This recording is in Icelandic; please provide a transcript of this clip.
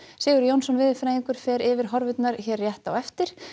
Sigurður Jónsson veðurfræðingur fer yfir horfurnar hér rétt á eftir